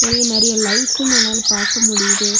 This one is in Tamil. இங்க நெறைய லைட்ஸ்ம் நம்மளால பார்க்க முடியுது.